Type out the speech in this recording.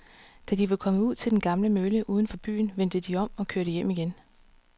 Da de var kommet ud til den gamle mølle uden for byen, vendte de om og kørte hjem igen.